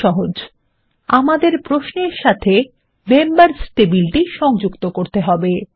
খুব সহজ আমাদের প্রশ্নের সাথে মেম্বার্স টেবিল সংযুক্ত করব